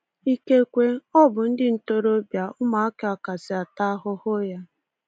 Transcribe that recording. Ikekwe, ọ bụ ndị ntorobịa ụmụaka kasị ata ahụhụ ya.